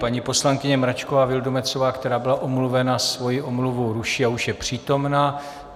Paní poslankyně Mračková Vildumetzová, která byla omluvena, svoji omluvu ruší a už je přítomna.